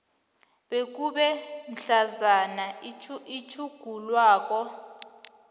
bekube mhlazana itjhugululwako